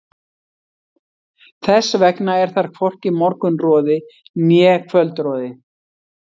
Þess vegna er þar hvorki morgunroði né kvöldroði.